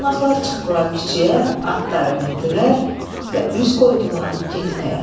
Qonaqlar çıxdılar küçəyə, atları mindilər və üz qoydular getməyə.